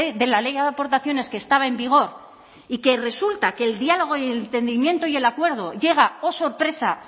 de la ley de aportaciones que estaba en vigor y que resulta que el diálogo y entendimiento y el acuerdo llega oh sorpresa